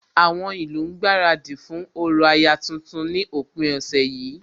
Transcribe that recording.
Àwọn ìlú ń gbaradì fún orò aya tuntun ní òpin ọ̀sẹ̀ yìí